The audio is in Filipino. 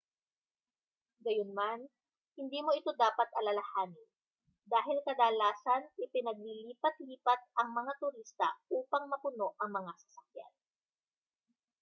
gayunman hindi mo ito dapat alalahanin dahil kadalasan ay pinaglilipat-lipat ang mga turista upang mapuno ang mga sasakyan